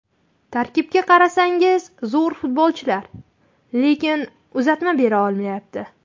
Tarkibga qarasangiz zo‘r futbolchilar, lekin uzatma bera olmayapti.